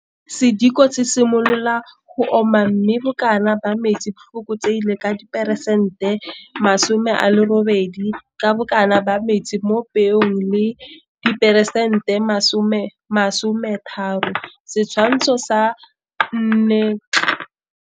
Sediko se simolola go oma mme bokana ba metsi bo fokotsegile ka diperesente di le masomealerobedi ka bokana ba metsi mo peong bo le diperesente di le masome, masome a mararo, Setshwantsho sa 4c.